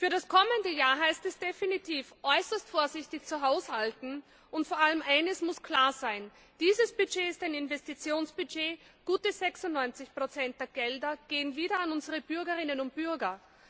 Für das kommende Jahr heißt es definitiv, äußerst vorsichtig zu haushalten, und vor allem eines muss klar sein Dieses Budget ist ein Investitionsbudget gute 96 der Gelder gehen wieder an unsere Bürgerinnen und Bürger.